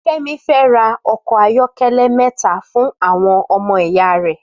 Femi fè rà òkò áyòkèlè mètá fún áwòn òmò ìyá rè